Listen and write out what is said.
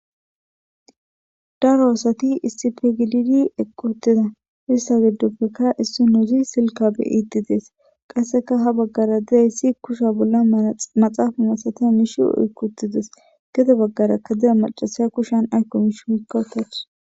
daro asati istipegididi eqqotida issa giddopfekka issi nuuzi silkabe iiti dees qasseka ha baggara diayssi kusha bolla amaxaafa masata nishi oykkutides gede baggara ka dida macasay kushan aykkomish oykkawtath